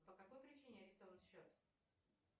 по какой причине арестован счет